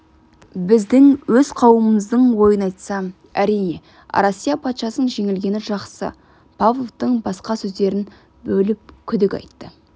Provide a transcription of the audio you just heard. біздің өз қауымымыздың ойын айтсам әрине россия патшасының жеңілгені жақсы павловтың басқа сөздерін бөліп күдік айтты